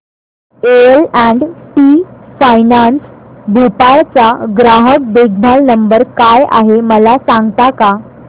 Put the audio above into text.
L and T finance Bhopal चा ग्राहक देखभाल नंबर काय आहे मला सांगता का